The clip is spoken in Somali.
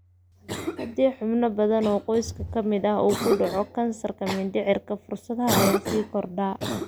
Haddii xubno badan oo qoyska ka mid ah uu ku dhacay kansarka mindhicirka, fursadaha ayaa sii kordha.